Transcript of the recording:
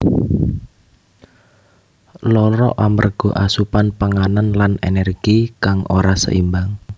Lara amarga asupan panganan lan energi kang ora seimbang